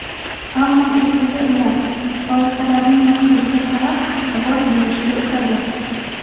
Ammo ertaga ular loyihalarning maqsadiga qarab ovoz berishga o‘tadi.